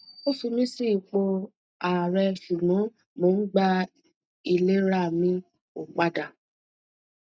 o fi mi si ipo aare sugbo mo n gba ilerami opada